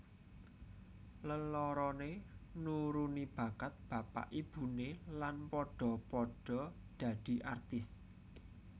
Leloroné nuruni bakat bapak ibuné lan padha padha dadi artis